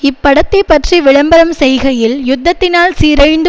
இப்படத்தைப் பற்றி விளம்பரம் செய்கையில் யுத்தத்தினால் சீரழிந்து